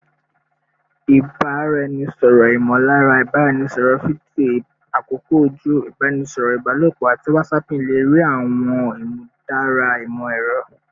Ibaraẹnisọrọ imolara, ibaraẹnisọrọ fidio, akoko oju, ibaraẹnisọrọ ibalopo, ati whatsapping le rii awọn imudara imọ-ẹrọ